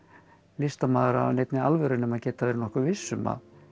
listamaður af neinni alvöru nema geta verið nokkuð viss um